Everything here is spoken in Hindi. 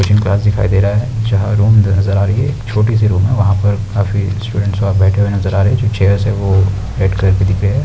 टीचिंग क्लास दिखाई दे रहा है जहाँ रूम नज़र आ रही है छोटी सी रूम है हैं पर काफी स्टूडेंट बैठे हुए नज़र आ रहे हैं जो चेयर्स हैं वो रेड कलर की दिख रही हैं।